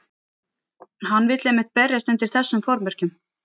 Hann vill einmitt berjast undir þessum formerkjum.